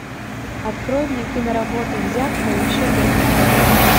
открой мне киноработу взятка и еще пять историй